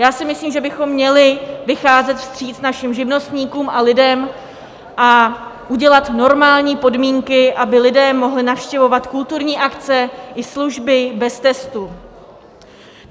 Já si myslím, že bychom měli vycházet vstříc našim živnostníkům a lidem a udělat normální podmínky, aby lidé mohli navštěvovat kulturní akce i služby bez testu.